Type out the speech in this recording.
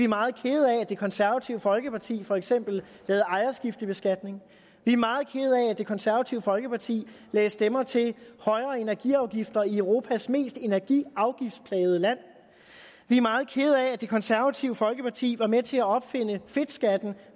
meget kede af at det konservative folkeparti for eksempel lavede ejerskiftebeskatning vi er meget kede af at det konservative folkeparti lagde stemmer til højere energiafgifter i europas mest energiafgiftsplagede land vi er meget kede af at det konservative folkeparti var med til at opfinde fedtskatten